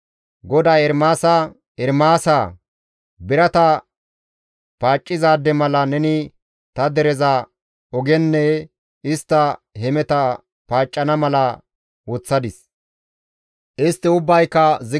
GODAY Ermaasa, «Ermaasaa! Birata paaccizaade mala neni ta dereza ogenne istta hemeta paaccana mala ta nena woththadis;